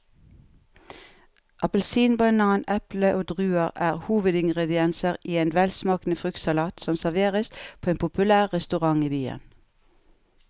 Appelsin, banan, eple og druer er hovedingredienser i en velsmakende fruktsalat som serveres på en populær restaurant i byen.